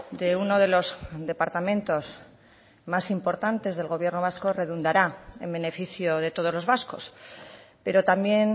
de uno de los departamentos más importantes del gobierno vasco redundará en beneficio de todos los vascos pero también